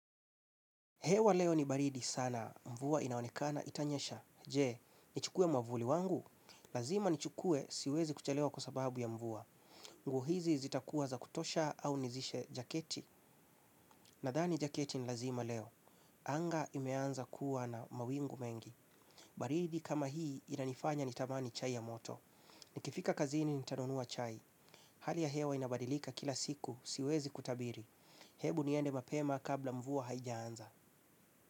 Hewa leo ni baridi sana. Mvua inaonekana itanyesha. Je, nichukue mwavuli wangu? Lazima nichukue siwezi kuchelewa kwa sababu ya mvua. Nguo hizi zitakuwa za kutosha au nizishe jaketi. Nadhani jaketi ni lazima leo. Anga imeanza kuwa na mawingu mengi. Baridi kama hii inanifanya nitamani chai ya moto. Nikifika kazini nitanunua chai. Hali ya hewa inabadilika kila siku siwezi kutabiri. Hebu niende mapema kabla mvua haijaanza.